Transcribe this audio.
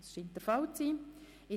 – Dies scheint der Fall zu sein.